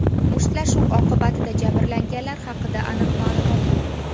Mushtlashuv oqibatida jabrlanganlar haqida aniq ma’lumot yo‘q.